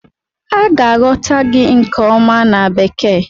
A ga-aghọta gị nke ọma na Bekee.